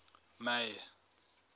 may